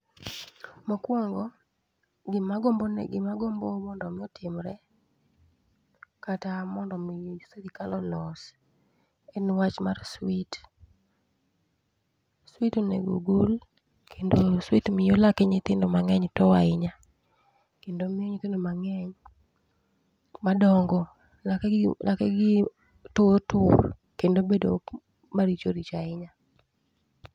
Mokwongo, gima agombo ne gima agombo mondo mi otimre kata mondo mi sirikal olosi, en wach mar sweet. Sweet onego gol, kendo sweet miyo lake nyithindo mang'eny tow ahinya. Kendo miyo nyithindo mang'eny madongo lakegi gi, lakegi tur tur kendo bedo maricho richo ahinya.